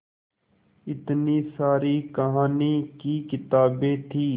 इतनी सारी कहानी की किताबें थीं